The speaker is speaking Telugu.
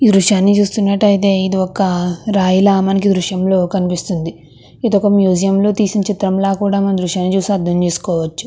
ఈ దృశ్యం లో చూచినట్టు ఆయతే రయ్య ల ఈ దృశ్యం లో కనిపిస్తోంది ఇధి క మ్యూజియం లో తీసిన దృశ్యం ల అర్ధం చేసుకోవచ్చు.